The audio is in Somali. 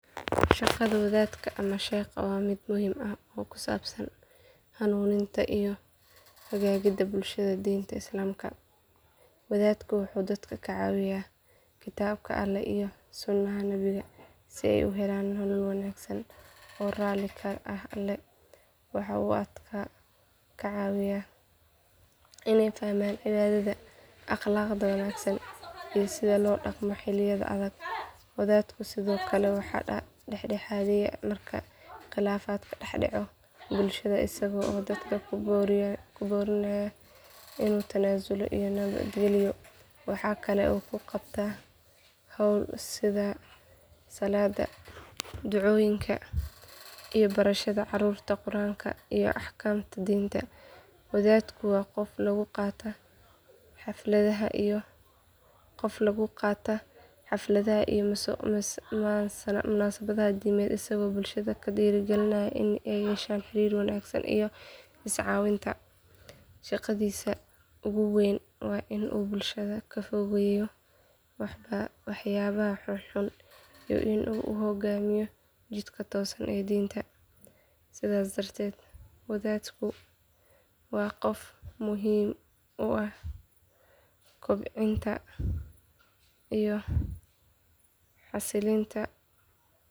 Shaqada wadaadka ama sheekha waa mid muhiim ah oo ku saabsan hanuuninta iyo hagidda bulshada diinta islaamka. Wadaadku wuxuu dadka ku wacdiyeyaa kitaabka alle iyo sunnaha nabiga si ay u helaan nolol wanaagsan oo raali ka ah alle. Waxa uu dadka ka caawiyaa inay fahmaan cibaadada, akhlaaqda wanaagsan iyo sida loo dhaqmo xilliyada adag. Wadaadku sidoo kale waa dhexdhexaadiye marka khilaafaad ka dhex dhaco bulshada isaga oo dadka ku boorinaya isu tanaasul iyo nabadgalyo. Waxa kale oo uu qabtaa hawlo sida salaadda, ducooyinka, iyo barashada caruurta quraanka iyo axkaamta diinta. Wadaadku waa qof lagu kalsoon yahay oo bulshada u yahay tusaale wanaagsan oo ku dayasho mudan. Mararka qaar wuxuu ka qayb qaataa xafladaha iyo munaasabadaha diimeed isagoo bulshada ku dhiirrigelinaya in ay yeeshaan xiriir wanaagsan iyo iscaawinta. Shaqadiisa ugu weyn waa in uu bulshada ka fogeeyo waxyaabaha xunxun iyo in uu ku hoggaamiyo jidka toosan ee diinta. Sidaas darteed wadaadku waa qof muhiim u ah kobcinta iyo xasilinta.